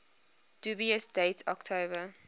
dubious date october